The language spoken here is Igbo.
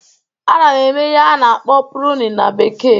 Ana m eme ihe a na-akpọ "pruning"na bekee